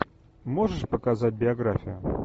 можешь показать биографию